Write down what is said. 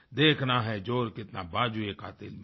देखना है ज़ोर कितना बाज़ुएकातिल में है